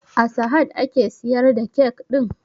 A sahad ake siyar da kyak ɗin?